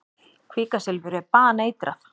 Kvikasilfur er baneitrað.